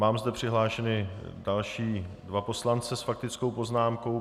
Mám zde přihlášeny další dva poslance s faktickou poznámkou.